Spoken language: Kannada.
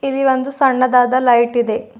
ಇಲ್ಲಿ ಒಂದು ಸಣ್ಣದಾದ ಲೈಟ್ ಇದೆ.